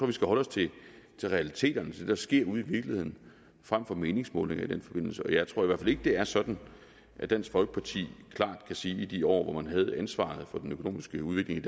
vi skal holde os til realiteterne til det der sker ude i virkeligheden frem for meningsmålinger i den forbindelse jeg tror i hvert fald ikke det er sådan at dansk folkeparti klart kan sige at i de år hvor man havde ansvaret for den økonomiske udvikling